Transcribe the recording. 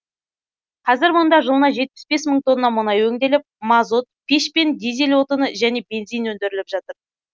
қазір мұнда жылына жетпіс бес мың тонна мұнай өңделіп мазут пеш пен дизель отыны және бензин өндіріліп жатыр